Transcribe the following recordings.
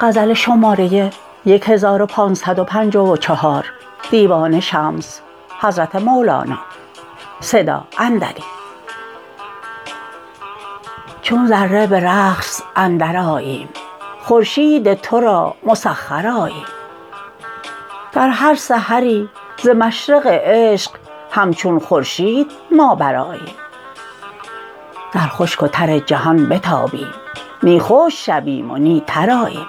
چون ذره به رقص اندرآییم خورشید تو را مسخر آییم در هر سحری ز مشرق عشق همچون خورشید ما برآییم در خشک و تر جهان بتابیم نی خشک شویم و نی تر آییم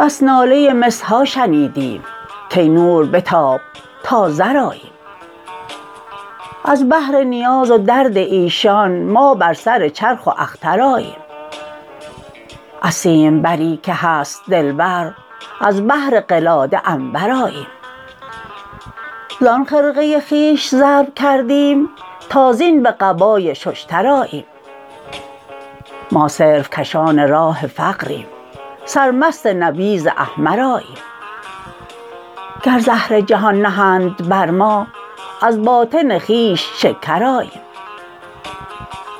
بس ناله مس ها شنیدیم کای نور بتاب تا زر آییم از بهر نیاز و درد ایشان ما بر سر چرخ و اختر آییم از سیمبری که هست دلبر از بهر قلاده عنبر آییم زان خرقه خویش ضرب کردیم تا زین به قبای ششتر آییم ما صرف کشان راه فقریم سرمست نبیذ احمر آییم گر زهر جهان نهند بر ما از باطن خویش شکر آییم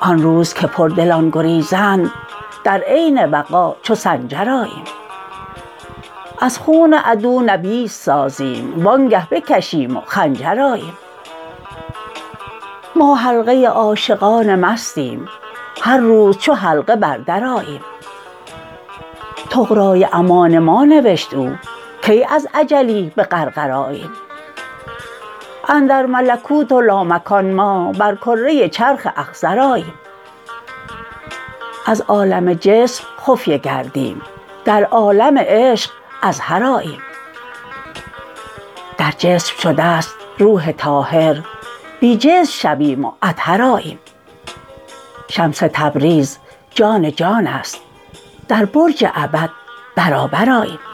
آن روز که پردلان گریزند در عین وغا چو سنجر آییم از خون عدو نبیذ سازیم وانگه بکشیم و خنجر آییم ما حلقه عاشقان مستیم هر روز چو حلقه بر در آییم طغرای امان ما نوشت او کی از اجلی به غرغر آییم اندر ملکوت و لامکان ما بر کره چرخ اخضر آییم از عالم جسم خفیه گردیم در عالم عشق اظهر آییم در جسم شده ست روح طاهر بی جسم شویم و اطهر آییم شمس تبریز جان جان است در برج ابد برابر آییم